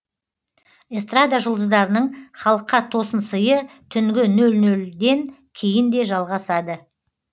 эстрада жұлдыздарының халыққа тосын сыйы түнгі нөл нөлден кейін де жалғасады